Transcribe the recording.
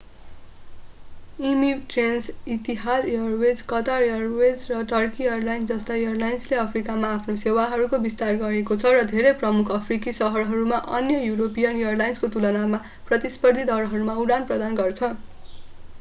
emirates Etihad Airways Qatar Airways र Turkey Airlines जस्ता एयरलाइन्सले अफ्रिकामा आफ्नो सेवाहरूको विस्तार गरेको छ र धेरै प्रमुख अफ्रिकी शहरहरूमा अन्य यूरोपीयन एयरलाइन्सको तुलनामा प्रतिस्पर्धी दरहरूमा उडान प्रदान गर्छ